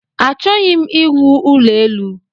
Achọghị m iwu ụlọ elu